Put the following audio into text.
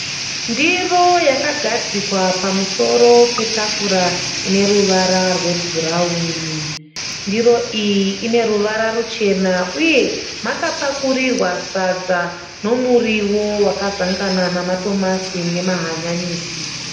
Ndiro yakagadzikwa pamusoro petafura ine ruvara rwebhurawuni. Ndiro iyi ine ruvara ruchena uye makapakurirwa sadza nemuriwo wakazanganiswa namatomatisi nehanyanisi.